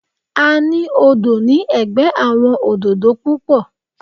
A ní odò ní ẹ̀gbẹ́ àwọn òdòdó púpọ̀.